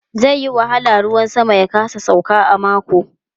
Zai yi wahala ruwan sama ya kasa sauka a mako.